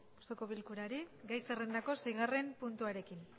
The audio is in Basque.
osoko blkurari gai zerrenda seigarren puntua